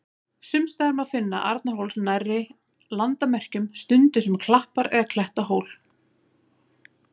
Sums staðar má finna Arnarhól nærri landamerkjum, stundum sem klappar- eða klettahól.